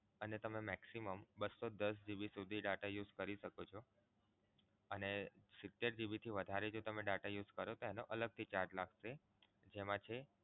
અને તમે maximum બસો દસ GB સુધી data use કરી શકો છો. એ સિતેર GB થી વધુ data use કરો તો એનો અલગથી charge લાગશે. એમા છે